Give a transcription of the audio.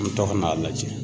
An bɛ to ka n'a lajɛ